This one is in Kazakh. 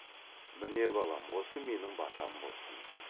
міне балам осы менің батам болсын